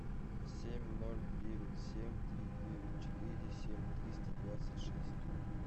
семь ноль девять семь три девять четыре семь триста двадцать шесть